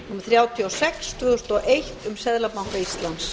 þrjátíu og sex tvö þúsund og eitt um seðlabanka